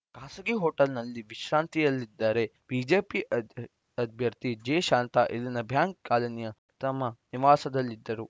ಖಾಸಗಿ ಹೋಟೆಲ್‌ನಲ್ಲಿ ವಿಶ್ರಾಂತಿಯಲ್ಲಿದ್ದರೆ ಬಿಜೆಪಿ ಅಭ್ಯರ್ಥಿ ಜೆ ಶಾಂತಾ ಇಲ್ಲಿನ ಬ್ಯಾಂಕ್‌ ಕಾಲನಿಯ ತಮ್ಮ ನಿವಾಸದಲ್ಲಿದ್ದರು